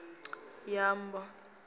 ya boḓelo a i ṱoḓi